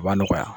A b'a nɔgɔya